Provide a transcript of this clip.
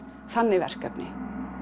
þannig verkefni